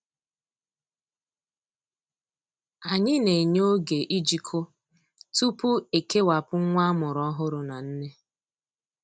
Anyị na-enye oge ijikọ tupu ekewapụ nwa amụrụ ọhụrụ na nne.